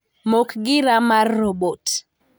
Mok gira mar robot.